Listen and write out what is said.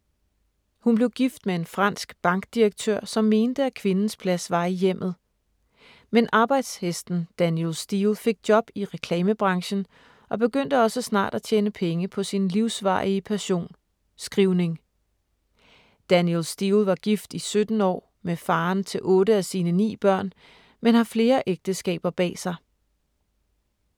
Hun blev gift med en fransk bankdirektør, som mente, at kvindens plads var i hjemmet. Men arbejdshesten Danielle Steel fik job i reklamebranchen og begyndte også snart at tjene penge på sin livsvarige passion: Skrivning. Danielle Steel var gift i 17 år med faren til otte af sine ni børn, men har flere ægteskaber bag sig.